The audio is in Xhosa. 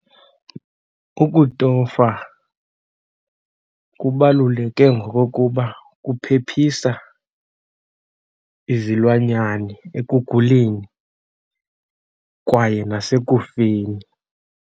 Ukutofa kubaluleke ngokokuba kuphephisa izilwanyane ekuguleni kwaye nasekufeni.